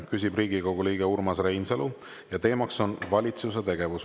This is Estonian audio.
Küsib Riigikogu liige Urmas Reinsalu ja teema on valitsuse tegevus.